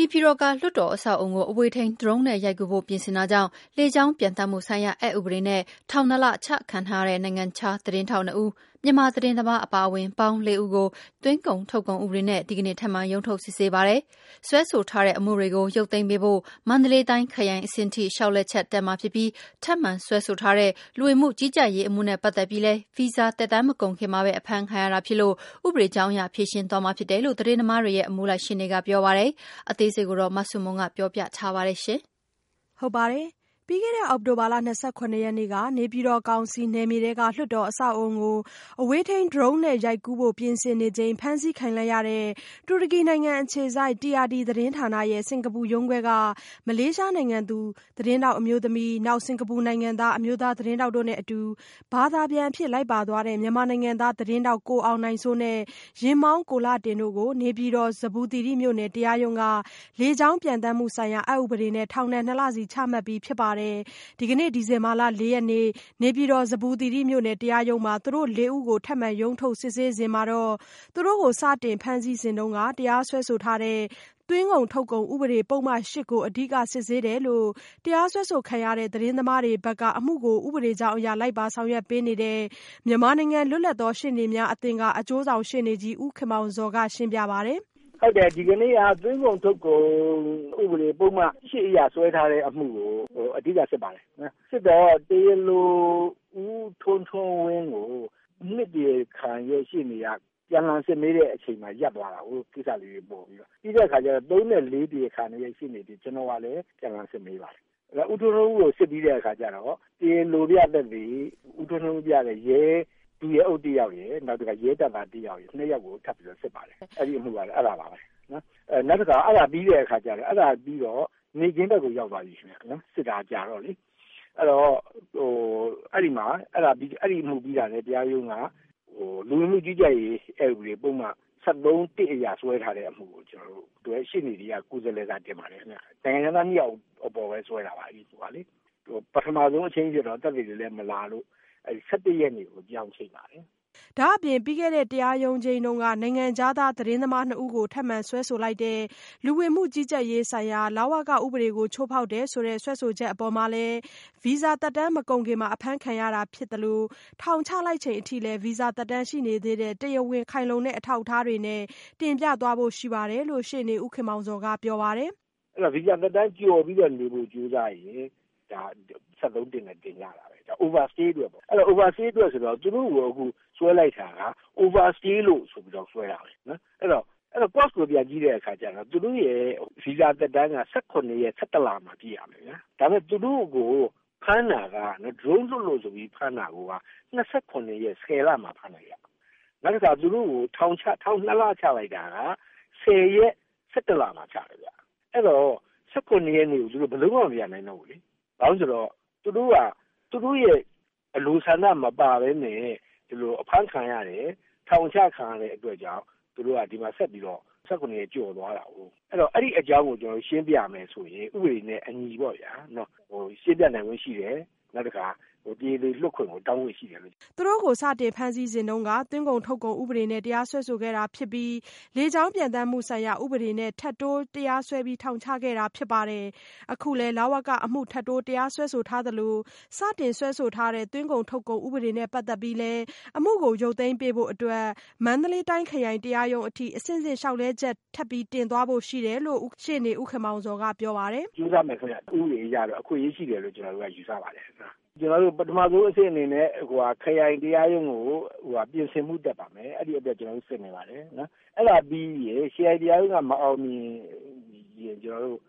နေပြည်တော်က လွှတ်တော်အဆောက်အအုံကို အဝေးထိန်း Drone နဲ့ရိုက်ကူးဖို့ပြင်ဆင်တာကြောင့် လေကြောင်း ပျံသန်းမှုဆိုင်ရာ အက်ဥပဒေနဲ့ ထောင်နှစ်လ အချခံထားရတဲ့ နိုင်ငံခြားသတင်းထောက်နှစ်ဦး မြန်မာသတင်းသမားအပါအဝင်ပေါင်းလေးဦးကို သွင်းကုန်ထုတ်ကုန် ဥပဒေနဲ့ ဒီကနေ့ ထပ်မံရုံးထုတ်စစ်ဆေးပါတယ်။ စွဲဆိုထားတဲ့အမှုတွေကို ရုပ်သိမ်းပေးဖို့ မန္တလေးတိုင်းခရိုင်အဆင့်အထိ လျှောက်လဲချက်တက်မှာဖြစ်ပြီး ထပ်မံ စွဲဆိုထားတဲ့ လူဝင်မှုကြီးကြပ်ရေးအမှုနဲ့ ပတ်သက်ပြီးလည်း ဗီဇာသက်တမ်းမကုန်ခင်မှာပဲ အဖမ်းခံရတာဖြစ်လို့ ဥပဒေကြောင်းအရ ဖြေရှင်းသွားမှာဖြစ်တယ်လို့ သတင်းသမားတွေရဲ့ အမှုလိုက်ရှေ့နေကပြောပါတယ်။ အသေးစိတ် မဆုမွန် ပြောပြပေးမှာပါ။ ပြီးခဲ့တဲ့ အောက်တိုဘာလ ၂၇ရက်နေ့က နေပြည်တော်ကောင်စီနယ်မြေထဲက လွှတ်တော်အဆောက်အအုံကို အဝေးထိန်း Drone နဲ့ရိုက်ကူးဖို့ပြင်ဆင်နေချိန် ဖမ်းဆီးခံလိုက်ရတဲ့ တူရကီနိုင်ငံအခြေစိုက် TRT သတင်းဌာနရဲ့ စင်္ကာပူရုံးခွဲက မလေးရှားနိုင်ငံသူ သတင်းထောက်အမျိုးသမီး Mok Choy Lin ၊ စင်ကာပူနိုင်ငံသား အမျိုးသားသတင်းထောက် Lau Hon Meng တို့နဲ့အတူ ဘာသာပြန်အဖြစ် လိုက်ပါသွားတဲ့ မြန်မာနိုင်ငံသား သတင်းထောက် ကိုအောင်နိုင်စိုး နဲ့ ယာဉ်မောင်း ကိုလှတင်တို့ကို နေပြည်တော် ဇမ္ဗူသီရိမြို့နယ် တရားရုံးက လေကြောင်း ပျံသန်းမှုဆိုင်ရာ အက်ဥပဒေနဲ့ ထောင်ဒဏ် ၂ လစီချမှတ်ပြီးဖြစ်ပါတယ်။ ဒီကနေ့ ဒီဇင်ဘာလ ၄ရက်နေ့ နေပြည်တော် ဇမ္ဗူသီရိမြို့နယ် တရားရုံးမှာ သူတို့လေးဦးကို ထပ်မံ ရုံးထုတ်စစ်ဆေးစဉ်တာကတော့ သူတို့ကို စတင်ဖမ်းဆီးစဉ်တုန်းက တရားစွဲထားတဲ့ သွင်းကုန်ထုတ်ကုန်ဥပဒေ ပုဒ်မ ကို အဓိက စစ်ဆေးတယ်လို့ တရားစွဲဆိုခံရတဲ့သတင်းသမားတွေဘက်က အမှုကို ဥပဒေကြောင်းအရ လိုက်ပါဆောင်ရွက်ပေးနေသူ မြန်မာနိုင်ငံ လွတ်လပ်သောရှေ့နေများအသင်းက အကျိုးဆောင်ရှေ့နေကြီး ဦးခင်မောင်ဇော်က ရှင်းပြပါတယ်။ "ဟုတ်တယ် ဒီကနေ့က သွင်းကုန်ထုတ်ကုန် ဥပဒေ ပုဒ်မ အရ ဆွဲထားတဲ့ အမှုကို အဓိက စစ်ပါတယ်။ စစ်တော့ တရားလို ဦးထွန်းထွန်းဝင်းကို ၂ တရားခံရှေ့နေက ပြန်စစ်မေးတဲ့အချိန်မှာ ရပ်သွားတယ်။ ကိစ္စလေးတွေ ပေါ်ပြီးတော့ ၊ ပြီးတော့ ၃ နဲ့ ၄ တရားခံတွေရဲ့ရှေ့နေတွေ ကျနော်ကလည်း ပြန်လှန်စစ်မေးပါတယ်။ ဆိုတော့ ဦးထွန်းထွန်းဝင်းကို စစ်ပြီးတဲ့အခါတော့ တရားလိုပြသက်သေ ဦးထွန်းထွန်းဝင်းပြောတဲ့ ဒုရဲအုပ်တယောက်ရယ်၊ နောက်တခါ ရဲတပ်သားတယောက်ရယ် အဲဒီ ၂ ယောက်ကို ထပ်ပြီးတော့ စစ်ပါတယ် အဲဒါပါပဲနော်။ နောက်တခါ အဲဒါပြီးတဲ့အခါကျတော့ နေ့ခင်းဘက်ကို ရောက်သွားတယ် စစ်တာကြာတော့လေ။ အဲဒီမှာ အဲဒီအမှုပြီးတာနဲ့ တရားရုံးက လူဝင်မှုကြီးကြပ်ရေး တရားဥပဒေပုဒ်မ ၁၃- အရ ဆွဲထားတဲ့ ပုဒ်မကို ကျနော်တို့ အမှုတွဲရှေ့နေတွေက ကိုယ်စားလှယ်စာတင်ပါတယ်ခင်ဗျ ။ နိုင်ငံခြားသားတွေကိုပဲဆွဲတာပါ။ ပထမဆုံးချိန်းတာမှာကတော့ သက်သေတွေလည်း မလာလို့ ၁၁ ရက်နေ့ကို ပြောင်းချိန်ပါတယ်။" ဒါ့အပြင် ပြီးခဲ့တဲ့ တရားရုံးချိန်းတုန်းက နိုင်ငံခြားသားသတင်းသမားနှစ်ဦးကို ထပ်မံစွဲဆိုလိုက်တဲ့ လူဝင်မှုကြီးကြပ်ရေးဆိုင်ရာဥပဒေ ချိုးဖောက်တယ်ဆိုတဲ့ စွဲဆိုချက်အပေါ်မှာလည်း ဗီဇာသက်တမ်းမကုန်ခင်မှာပဲ အဖမ်းခံရတာဖြစ်သလို ထောင်ချလိုက်ချိန်အထိလည်း ဗီဇာသက်တမ်းရှိနေသေးတဲ့ တရားဝင်ခိုင်လုံတဲ့အထောက်အထားတွေနဲ့ တင်ပြသွားဖို့ရှိတယ်လို့ ရှေ့နေဦးခင်မောင်ဇော်က ပြောပါတယ်။ "ဗီဇာသက်တမ်းကျော်ပြီးတော့ နေဖို့ ကြိုးစားရင် ဒါက ၁၃ နဲ့ တင်ကြတာပဲ ဒါက Overstayအတွက်ပေါ့နော် Overstayအတွက်ဆိုတော့ သူတို့ကိုအခုဆွဲလိုက်တယ်ဆိုတာက Overstay ဆိုပြီးတော့ ဆွဲတာပဲ အဲဒီတော့ အကြောင်းအရင်းကို ပြန်ကြည့်တဲ့အခါကျတော့ သူတို့ ဗီဇာသက်တမ်းက ၁၇ ရက် ၁၁ လပိုင်းမှာ ပြည့့်မယ်။ ဒါပေမယ့် သူတို့ကို Drone လွှတ်လို့ဆိုပြီးတော့ ဖမ်းတာက ၂၇ ရက် ၁၀ လမှာ ဖမ်းတယ်ခင်ဗျ။ နောက်ပြီးတော့ သူတို့ကို ထောင် ၂ လချလိုက်တာက ၁၀ ရက် ၁၁ လမှာ ချတယ်ခင်ဗျ ။ အဲဒီတော့ ၁၇ ရက်ကို သူတို့ ဘယ်လိုမှ မပြန်နိုင်တော့ဘူးလေ။ ဘာဖြစ်လို့လဲဆိုတော့ သူတို့က သူတို့ရဲ့ အလိုဆန္ဒမပါပဲနဲ့ အဖမ်းခံရတယ်၊ ထောင်ချခံရတဲ့အတွက်ကြောင့် သူတို့က ဒီမှာဆက်ပြီးတော့ ၁၇ ရက်ကျော်သွားတာကို ဆိုတော့ အဲဒီအကြောင်းကို ရှင်းပြမယ်ဆိုရင် ဥပဒေနဲ့ အညီပေါ့ဗျာ ရှင်းပြနိုင်ခွင့်ရှိတယ်။ နောက်တခါ တရားလိုလွှတ်ခွင့်ကို တောင်းခွင့်ရှိတယ်။" သူတို့ကို စတင်ဖမ်းဆီးစဉ်က သွင်းကုန် ထုတ်ကုန်ဥပဒေနဲ့တရားစွဲဆိုခဲ့တာဖြစ်ပြီး လေကြောင်းပျံသန်းမှုဆိုင်ရာ ဥပေဒနဲ့ ထပ်တိုးတရားစွဲပြီး ထောင်ချခဲ့တာဖြစ်ပါတယ်။ အခုလည်း လဝကအမှု ထပ်တိုးတရားစွဲသလို စတင်စွဲဆိုခဲ့တဲ့ သွင်းကုန်ထုတ်ကုန်ဥပဒေနဲ့ ပတ်သက်ပြီးလည်း အမှုကို ရုပ်သိမ်းပေးဖို့အတွက် အမှုလိုက်ရှေ့နေတွေဘက်က မန္တလေးတိုင်းခရိုင်တရားရုံးအထိ အဆင့်ဆင့် လျှောက်လဲချက် တင်သွားဖို့ရှိတယ်လို့လည်း အမှုကိုလိုက်ပါဆောင်ရွက်ပေးနေတဲ့ ဦးခင်မောင်ဇော်ကပြောပါတယ်။ "ကြိုးစားမယ်ခင်ဗျ ဥပဒေအရတော့ အခွင့်အရေးရှိတယ်လို့တော့ ကျနော်တို့ယူဆပါတယ်။ ပထမဦးဆုံးအဆင့်အနေနဲ့ ကျနော်တို့ ခရိုင်တရားရုံးကို ပြင်ဆင်ဖို့ တက်ပါမယ်။ အဲဒီအတွက် ကျနော်တို့ စစ်နေပါတယ်။ အဲဒါပြီးရင် ခရိုင်တရားရုံးက မအောင်မြင်ရင် ကျနော်တို့